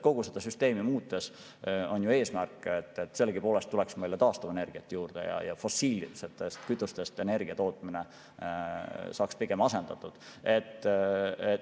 Kogu seda süsteemi muutes on eesmärk, et meil tuleks taastuvenergiat juurde ja fossiilsetest kütustest energia tootmine saaks asendatud.